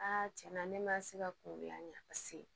tiɲɛ na ne ma se ka kungo la paseke